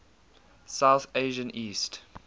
south asian east